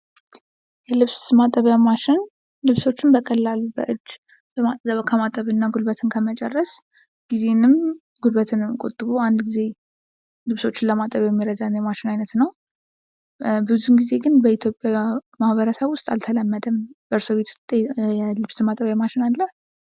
የልብስ ማጠቢያ ማሽን ልብሶችን በቀላሉ በእጅ ከማጠብና ጉልበትን ከመጨረስ ጊዜንም ጉልበትንም ቆጥቦ አንድ ጊዜ ልብሶችን ለማጠብ የሚረዳ የማሽን ዓይነት ነው። ብዙ ጊዜ ግን በኢትዮጵያ ማህበረሰብ ውስጥ አልተለመደም። በእርሶ ቤት ውስጥ የልብስ ማጠቢያ ማሽን አለ?